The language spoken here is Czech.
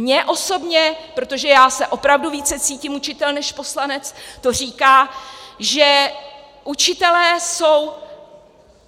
Mně osobně, protože já se opravdu více cítím učitel než poslanec, to říká, že učitelé jsou